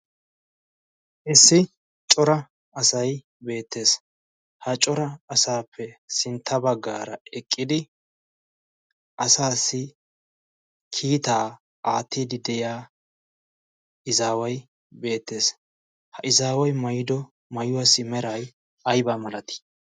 Issi cor asay beettees. ha cora asappe sintta baggara eqqidi asassi kiitaa aattide de'iyaa issi izaway beettees. ha izawassi maayuwa meray ay malati?